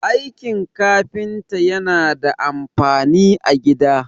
aikin kafinta yana da amfani a gida